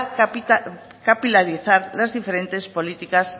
capitalizar las diferentes políticas